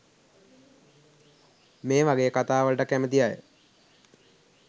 මේවගේ කතා වලට කැමති අය